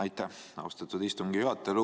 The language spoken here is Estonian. Aitäh, austatud istungi juhataja!